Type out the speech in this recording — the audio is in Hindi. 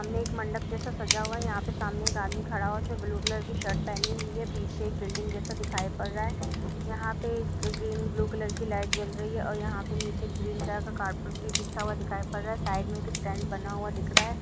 एक मंडप जैसा सजा हुआ है। इसमें यहाँ पर सामने एक आदमी खड़ा है। सामने उसने ब्लू कलर का शर्ट पहनी हुई है। दिखाई पड़ रहा है यहां पर ब्लू और ग्रीन कलर यहां पर ब्लू और ग्रीन कलर की लाइट चल रही है। और यहां पर नीचे ग्रीन कलर कारपेट बिछा हुआ दिखाई पड़ रहा है। साइड में एक स्टैंड बना हुआ दिख रहा है।